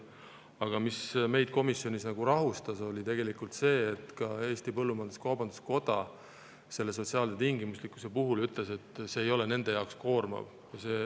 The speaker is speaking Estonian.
Aga mis meid komisjonis rahustas, oli see, et ka Eesti Põllumajandus-Kaubanduskoda selle sotsiaalse tingimuslikkuse kohta ütles, et see ei ole nende jaoks koormav.